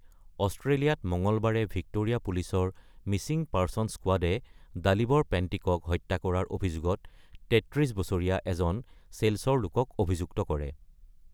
অষ্ট্ৰেলিয়াত মঙলবাৰে ভিক্টোৰিয়া পুলিচৰ মিছিং পাৰ্চনছ স্কোৱাডে ডালিবৰ পেণ্টিকক হত্যা কৰাৰ অভিযোগত ৩৩ বছৰীয়া এজন চেল্চৰ লোকক অভিযুক্ত কৰে ।